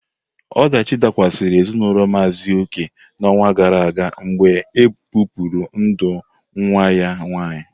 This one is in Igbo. Ọdachi dakwasara ezinaụlọ Maazi Oke n'ọnwa gara aga mgbe ebipụrụ ndụ nwa ya nwanyị.